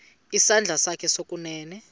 isandla sakho sokunene